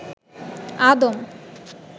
আদম